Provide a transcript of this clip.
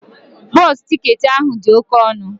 Bọsụ ticketị ahụ dị oke ọnụ